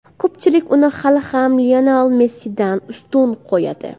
Ko‘pchilik uni hali ham Lionel Messidan ustun qo‘yadi.